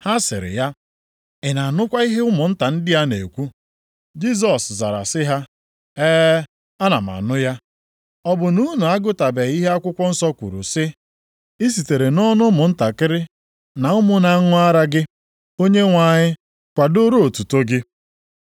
Ha sịrị ya, “Ị na-anụkwa ihe ụmụnta ndị a na-ekwu?” Jisọs zara sị ha, “E, ana m anụ ya. Ọ bụ na unu agụtabeghị ihe akwụkwọ nsọ kwuru sị, “ ‘I sitere nʼọnụ ụmụntakịrị na ụmụ na-aṅụ ara gị, Onyenwe anyị, kwadooro otuto gị’ + 21:16 \+xt Abụ 8:2\+xt* ?”